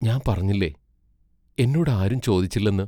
ഞാൻ പറഞ്ഞില്ലേ, എന്നോടാരും ചോദിച്ചില്ലെന്ന്.